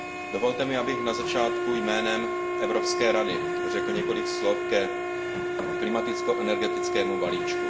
Dovolte mi, abych na začátku jménem Evropské rady řekl několik slov ke klimaticko energetickému balíčku.